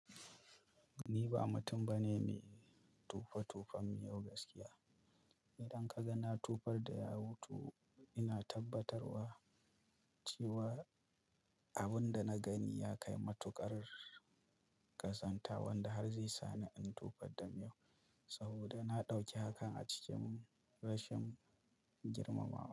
Ni ba mutum bane mai tufa tufan miyau gaskiya. Idan ka ga na tufar da yawu to ina tabbatarwa cewa abin da na gani ya kai matuƙar ƙazanta wanda har zai sa ni in tofar da miyau, saboda na ɗauki hakan a cikin rashin girmamawa.